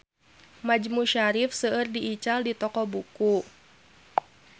Majmu Syarif seueur diical di toko buku